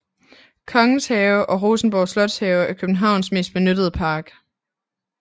Kongens Have eller Rosenborg Slotshave er Københavns mest benyttede park